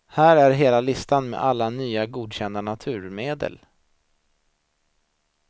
Här är hela listan med alla nya godkända naturmedel.